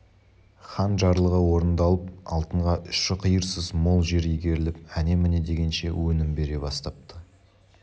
хан жарлығы орындалып алтынға ұшы-қиырсыз мол жер игеріліп әне-міне дегенше өнім бере бастапты